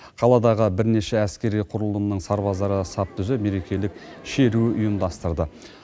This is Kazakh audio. қаладағы бірнеше әскери құрылымның сарбаздары сап түзеп мерекелік шеру ұйымдастырды